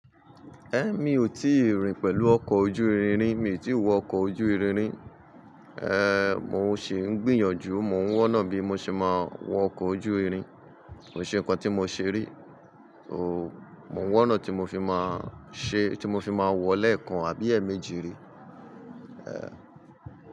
Mi ò tíì rìn pẹ̀lú ọkọ̀ ojú irin rí, mi ò tí wọ ọkọ̀ ojú irin rí. Mò ń ṣi ń gbìyànjú, mò ń wọ́nà bí mo ṣe máa wọ ọkọ̀ ojú irin. Kò ṣe nǹkan tí mo ṣe rí, so mò ń wọ́nà tí mo fi máa ṣe, tí mo fi máa wọ̀ lẹ́ẹ̀kan àbí ẹẹ̀méjì rí. Ehn.